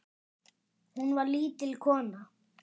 Hún var lítil kona.